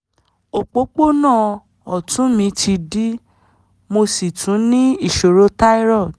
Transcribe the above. òpópónà ọ̀tún mi ti dí mo sì tún ní ìṣòro thyroid